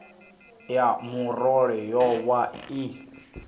ya murole yo vha i